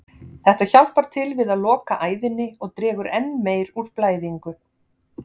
Þetta hjálpar til við að loka æðinni og dregur enn meir úr blæðingu.